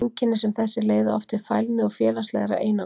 Einkenni sem þessi leiða oft til fælni og félagslegrar einangrunar.